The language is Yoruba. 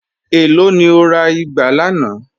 Ẹ̀ló ni o rà igbà lànà?